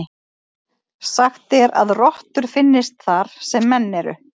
Sagt er að rottur finnist þar sem menn eru.